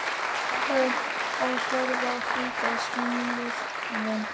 HVAÐ Á ÞETTA AÐ ÞÝÐA, SIGURBJARTUR?